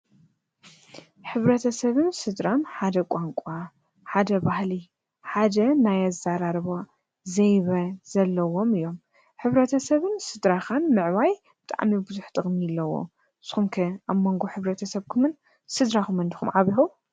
ሕብረተ ሰብን ስድራም ሓደ ቛንቋ፣ ሓደ ባህሊ፣ ሓደ ናይ ኣዛራርባ ዘይበ ዘለዎም እዮም። ሕብረተ ሰብን ስድራኻን ምዕባይ ብጣዕሚ ብዙኅ ጥቕሚ ኣለዎ። ንስኩም ከ ኣብመንጎ ሕብረተሰብኩምን ስድራኹምን ድኹም ዓቢኩም?